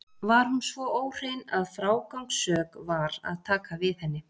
Var hún svo óhrein að frágangssök var að taka við henni.